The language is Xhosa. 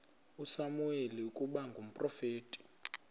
usamuweli ukuba ngumprofeti